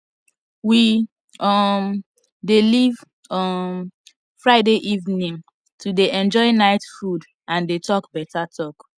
we um dey leave um friday evening to dey enjoy night food and dey talk beta talk